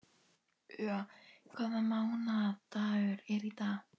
Úa, hvaða mánaðardagur er í dag?